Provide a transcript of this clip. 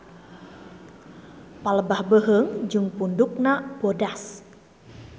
Palebah beuheung jeung pundukna bodas.